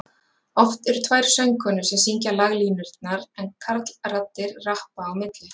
oft eru tvær söngkonur sem syngja laglínurnar en karlraddir rappa á milli